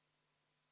Lauri Laats, palun!